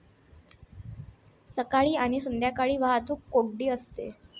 सकाळी आणि संध्याकाळी वाहतूक कोंडी होते.